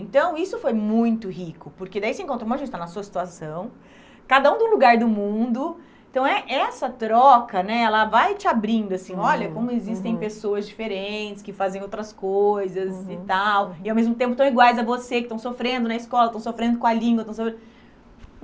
Então, isso foi muito rico, porque daí você encontra um monte de gente que está na sua situação, cada um de um lugar do mundo, então é essa troca né, ela vai te abrindo assim, olha como existem pessoas diferentes, que fazem outras coisas e tal, e ao mesmo tempo estão iguais a você, que estão sofrendo na escola, que estão sofrendo com a língua. Estão